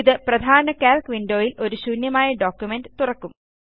ഇത് പ്രധാന calc window യിൽ ഒരു ശൂന്യമായ ഡോക്യുമെന്റ് തുറക്കും